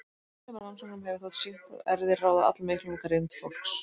Af þessum rannsóknum hefur þótt sýnt að erfðir ráða allmiklu um greind fólks.